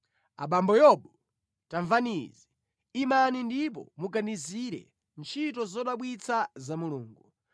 “Abambo Yobu, tamvani izi; imani ndipo muganizire ntchito zodabwitsa za Mulungu.